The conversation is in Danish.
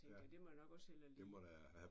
Tænkte jeg det må jeg nok også hellere lige